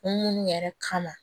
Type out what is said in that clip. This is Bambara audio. Munnu yɛrɛ kama